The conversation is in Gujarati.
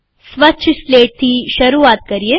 સ્વચ્છ સ્લેટથી શરૂઆત કરીએ